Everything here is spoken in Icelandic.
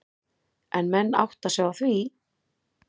En átta menn sig á því?